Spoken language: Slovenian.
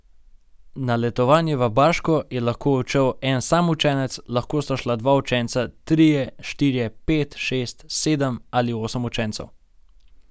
Na letovanje v Baško je lahko odšel en sam učenec, lahko sta šla dva učenca, trije, štirje, pet, šest, sedem ali osem učencev.